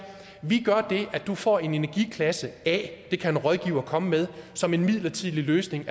vi gør det at du får en energiklasse a det kan en rådgiver komme med som en midlertidig løsning